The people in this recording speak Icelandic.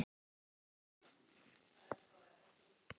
Reynhildur, ferð þú með okkur á miðvikudaginn?